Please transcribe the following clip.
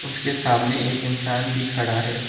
इसके सामने एक इंसान भी खड़ा है।